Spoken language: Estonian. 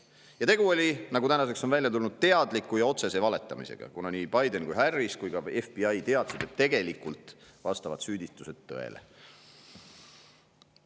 Aga tegu oli, nagu tänaseks on välja tulnud, teadliku ja otsese valetamisega, kuna nii Biden, Harris kui ka FBI teadsid, et tegelikult vastavad süüdistused tõele.